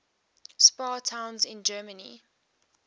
spa towns in germany